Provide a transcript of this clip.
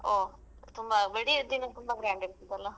ಹೋ ತುಂಬಾ ಬೆಡಿ ಆದ ದಿನ ತುಂಬ grand ಇರ್ತದಲ್ಲ.